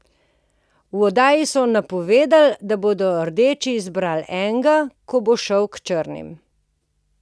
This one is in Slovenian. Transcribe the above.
V oddaji so napovedali, da bodo rdeči izbrali enega, ki bo šel k črnim.